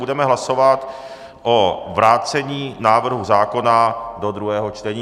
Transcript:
Budeme hlasovat o vrácení návrhu zákona do druhého čtení.